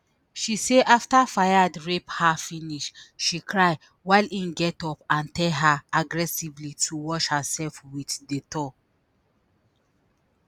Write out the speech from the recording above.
she say after fayed rape her finish she cry while im get up and tell her aggressively to wash hersef with dettol.